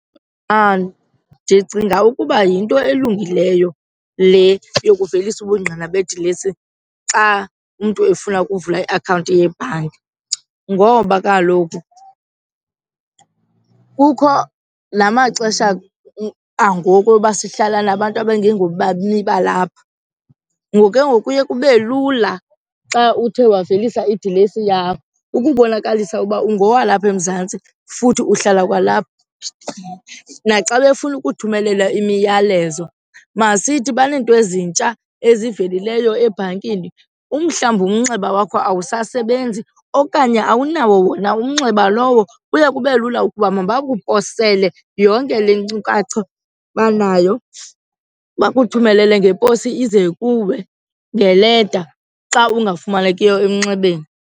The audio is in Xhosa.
Ndicinga ukuba yinto elungileyo le yokuvelisa ubungqina bedilesi xa umntu efuna ukuvula iakhawunti yebhanki ngoba kaloku kukho la maxesha angoku oba sihlala nabantu abangengobemi balapha. Ngoku ke ngoku kuye kube lula xa uthe wavelisa idilesi yakho ukubonakalisa ukuba ungowalapha eMzantsi futhi uhlala kwalapha. Naxa befuna ukuthumelela imiyalezo masithi baneento ezintsha ezivelileyo ebhankini, umhlawumbi umnxeba wakho awusasebenzi okanye awunawo wona umnxeba lowo, kuye kube lula ukuba mabakuphosele yonke le nkcukacha banayo, bakuthumelele ngeposi ize kuwe ngeleta xa ungafumanekiyo emnxebeni.